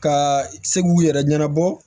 Ka se k'u yɛrɛ ɲɛnabɔ